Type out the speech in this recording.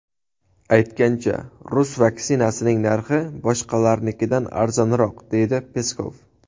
Aytgancha, rus vaksinasining narxi boshqalarnikidan arzonroq”, deydi Peskov.